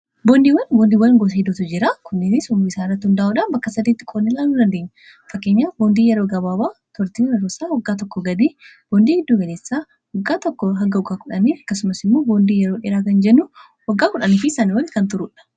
boondiiwwan boondiiw wan goosa hidootu jiraa kunnini sum bisaanrai hundaa'uudhaan bakka sadiitti qonnillaa nu dandii fakkanya boondii yeroo gabaabaa tortii nrosa waggaa tokko gadii boondii hidduu heneessaa aggaa tkk h 10 akkasumas immoo boondii yeroo dhiraa kan jenuu waggaa 10fi sani walli kan turuudha